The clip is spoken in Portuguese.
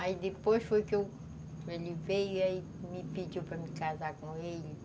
Aí depois foi que ele veio e me pediu para me casar com ele.